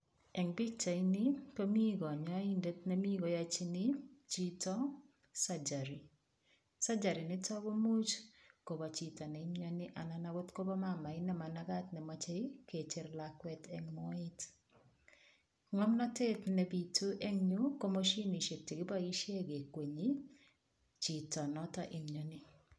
Eng pichaini komi kanyoindet nemi koyachini chito [sagary. Sagery nitok kobo chito neimioni anan akot ko mamait ne mamagat nemachei kecher lakwet eng moet. Ng'omnotet nebitu eng yu ko mashinishek chekiboishe kekwenyichito notok imioni.